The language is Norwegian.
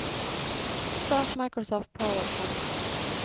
start Microsoft PowerPoint